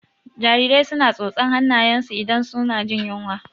Jarirai su na tsotsan hannayen su idan su na jin yunwa